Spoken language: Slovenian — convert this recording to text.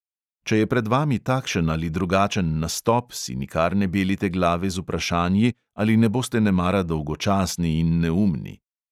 Če je pred vami takšen ali drugačen nastop, si nikar ne belite glave z vprašanji, ali ne boste nemara dolgočasni in neumni.